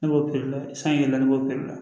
Ne b'o la san yɛlɛma ne b'o la